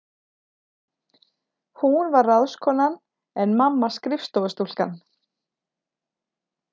Hún var ráðskonan en mamma skrifstofustúlkan.